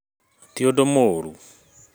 Tiũndũ mũru.